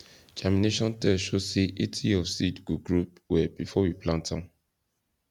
germination test show say 80 of seed go grow well before we plant am